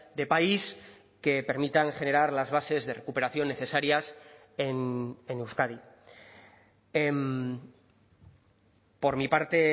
de país que permitan generar las bases de recuperación necesarias en euskadi por mi parte